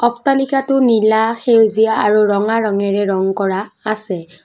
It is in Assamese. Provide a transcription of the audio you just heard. অট্টালিকাটো নীলা সেউজীয়া আৰু ৰঙা ৰঙেৰে ৰং কৰা আছে।